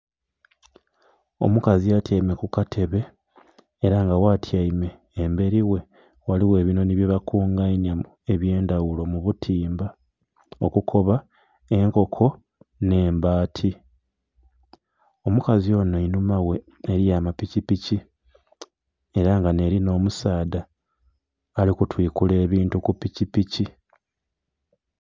Omukazi atyaime kukatebe era nga watyaime emberi ghe ghaligho ebinhonhi byebakunganya ebyendhaghulo mubutimba, Okukoba enkoko n'embaati. Omukazi ono einhuma ghe eriyo amapikipiki era nga neli n'omusaadha alikutwikula ebintu kupikipiki.